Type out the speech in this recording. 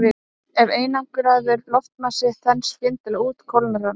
Ef einangraður loftmassi þenst skyndilega út kólnar hann.